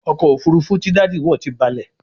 ọkọ̀ òfurufú tí Daddy wọ tí balè